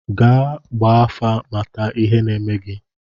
Gaa gbaa afa, mata ihe na-eme gị!